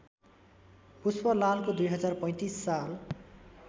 पुष्पलालको २०३५ साल